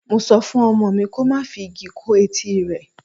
Mo sọ fún ọmọ mi ko má fi igi kó etí rẹ.